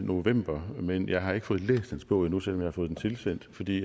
november men jeg har ikke fået læst hans bog endnu selv har fået den tilsendt fordi